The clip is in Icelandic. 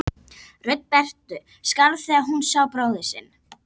Rödd Berthu skalf þegar hún sá bróður sinn.